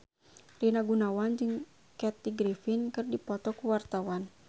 Rina Gunawan jeung Kathy Griffin keur dipoto ku wartawan